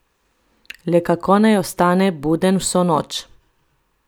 Le kako naj ostane buden vso noč?